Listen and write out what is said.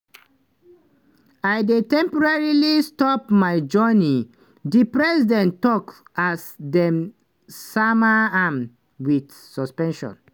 "i dey temporarily stop my journey" di president tok as dem sama am wit suspension.